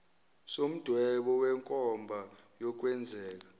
somdwebo wenkomba yokwenzeka